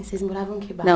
E vocês moravam em que